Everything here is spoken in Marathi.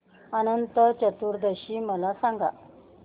अनंत चतुर्दशी मला सांगा